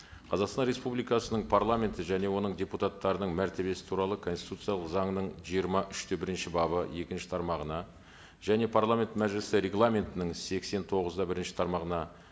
қазақстан республикасының парламенті және оның депутаттарының мәртебесі туралы конституциялық заңының жиырма үш те бірінші бабы екінші тармағына және парламент мәжілісі регламентінің сексен тоғыз да бірінші тармағына